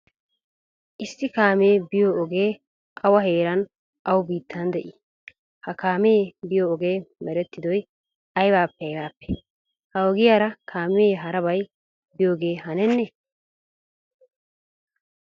issi kaammee biyo oge awa heeran awu biittaan de7ii? ha kaammee biyo ogee mereetidoy aybappe aybappe? ha ogiyara kaammee harabay biyogee hanennee?